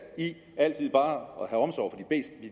i altid bare at og